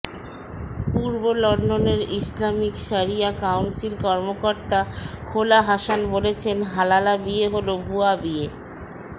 পূর্ব লন্ডনের ইসলামিক শরিয়া কাউন্সিল কর্মকর্তা খোলা হাসান বলছেন হালালা বিয়ে হলো ভূয়া বিয়ে